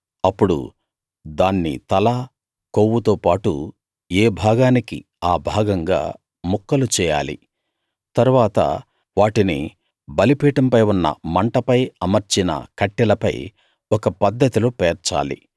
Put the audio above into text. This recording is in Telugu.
అప్పుడు దాన్ని తలా కొవ్వుతో పాటు ఏ భాగానికి ఆ భాగంగా ముక్కలు చేయాలి తరువాత వాటిని బలిపీఠంపై ఉన్న మంటపై అమర్చిన కట్టెలపై ఒక పద్ధతిలో పేర్చాలి